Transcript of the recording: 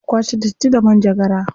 Za a iya kwace datti da manjagara.